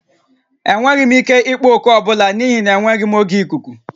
Enweghị m ike ịkpọ oku ọ bụla n'ihi na enweghị m oge ikuku